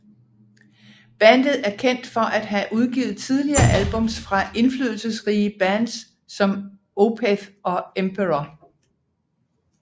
Bandet er kendt for at have udgivet tidlige albums fra indflydelsesrige bands som Opeth og Emperor